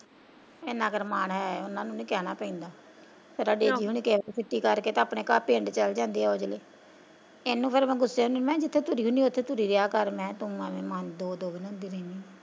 ਐਨਾ ਕੁ ਤਾਂ ਮਾਣ ਹੈ ਉਨਾਂ ਨੂੰ ਨੀ ਕਹਿਣਾ ਪੈਂਦਾ ਛੁੱਟੀ ਕਰਕੇ ਉਹ ਆਪਣੇ ਪਿੰਡ ਚੱਲ ਜਾਂਦੇ ਐ ਉਹ ਅਗਲੇ ਇਹਨੂੰ ਫਿਰ ਮੈਂ ਗੁਸੇ ਹੁੰਦੀ ਜਿਥੇ ਤੁਰੀ ਹੁੰਦੀ ਐ ਉੱਥੇ ਤੁਰੀ ਰਹੀਆ ਮੈਂ ਕਿਹਾ ਤੂੰ ਐਵੇਂ ਦੋ ਦੋ ਬਣਾਉਂਦੀ ਰਹਿਣੀ ਆ।